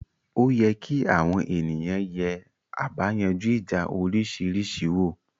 Oye kí àwọn ènìyàn yè àbáyanjú ìjà òrisìrísí wò